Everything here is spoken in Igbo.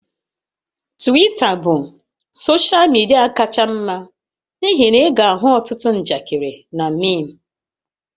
Twita bụ soshal midia kacha mma n'ihi na ị ga-ahụ ọtụtụ njakịrị na meem